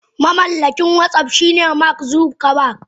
Mamallakin watsap shine mark Zuckerberg.